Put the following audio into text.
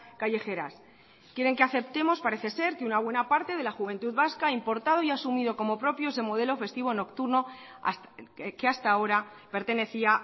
callejeras quieren que aceptemos parece ser que una buena parte de la juventud vasca ha importado y ha asumido como propio ese modelo festivo nocturna que hasta ahora pertenecía